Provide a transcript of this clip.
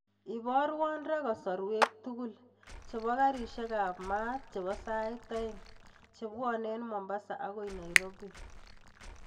Iborwon raa kasorwek tukul chebo garishek ab maat chebo sait oeng chebwone en mombasa akoi nairobi